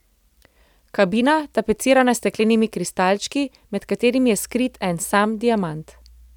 Kabina, tapecirana s steklenimi kristalčki, med katerimi je skrit en sam diamant.